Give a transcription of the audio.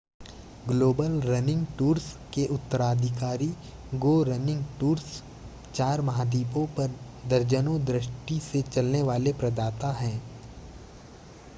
global running tours के उत्तराधिकारी go running tours चार महाद्वीपों पर दर्जनों दृष्टि से चलने वाले प्रदाता हैं